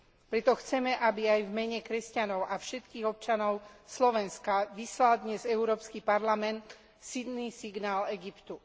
Preto chceme, aby aj v mene kresťanov a všetkých občanov Slovenska vyslal dnes Európsky parlament silný signál Egyptu.